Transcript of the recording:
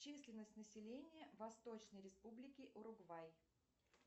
численность населения восточной республики уругвай